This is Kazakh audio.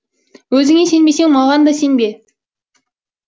өзіңе сенбесең маған да сенбе